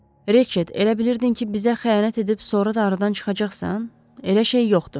Reçet, elə bilirdin ki, bizə xəyanət edib sonra da aradan çıxacaqsan? Elə şey yoxdur.